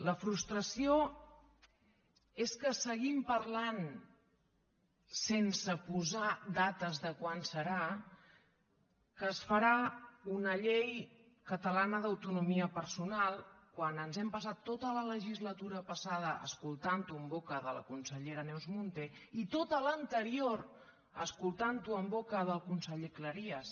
la frustració és que seguim parlant sense posar dates de quan serà que es farà una llei catalana d’autonomia personal quan ens hem passat tota la legislatura passada escoltant ho en boca de la consellera neus munté i tota l’anterior escoltant ho en boca del conseller cleries